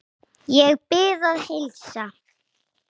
Ég bið að heilsa.